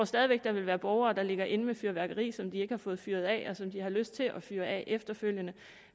stadig væk vil være borgere der ligger inde med fyrværkeri som de ikke har fået fyret af og som de har lyst til at fyre af efterfølgende